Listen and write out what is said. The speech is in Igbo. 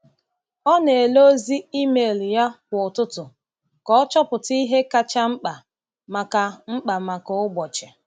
Ọ na-ele ozi email ya kwa ụtụtụ ka o chọpụta ihe kacha mkpa maka mkpa maka ụbọchị.